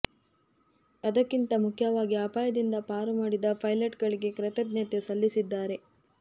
ಅದೆಲ್ಲಕ್ಕಿಂತ ಮುಖ್ಯವಾಗಿ ಅಪಾಯದಿಂದ ಪಾರು ಮಾಡಿದ ಪೈಲಟ್ ಗಳಿಗೆ ಕೃತಜ್ಞತೆ ಸಲ್ಲಿಸಿದ್ದಾರೆ